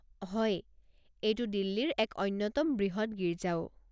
হয়, এইটো দিল্লীৰ এক অন্যতম বৃহৎ গীৰ্জাও।